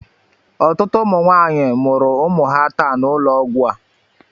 Ọtụtụ ụmụ nwanyị mụrụ ụmụ ha taa n'ụlọ ọgwụ a.